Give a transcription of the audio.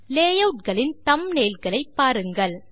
layout களின் thumbnail களை பாரு ங்கள்